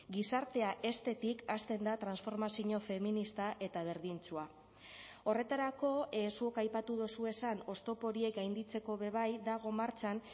gizartea heztetik hasten da transformazio feminista eta berdintsua horretarako zuk aipatu duzuezan oztopo horiek gainditzeko be bai dago martxan